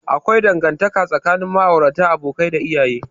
Akwai dangantaka tsakanin ma'aurata, abokai, da iyaye.